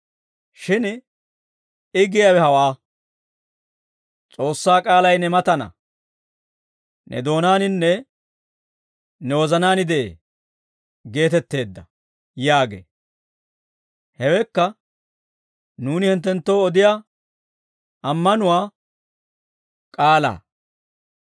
Shin I giyaawe hawaa; ‹S'oossaa k'aalay ne mataana; ne doonaaninne ne wozanaan de'ee› geetetteedda» yaagee. Hewekka nuuni hinttenttoo odiyaa ammanuwaa k'aalaa.